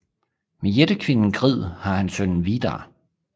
Med jættekvinden Grid har han sønnen Vidar